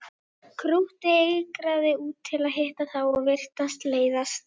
Krúttið eigraði út til að hitta þá og virtist leiðast.